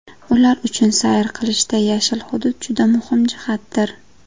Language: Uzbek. Ular uchun sayr qilishda yashil hudud juda muhim jihatdir.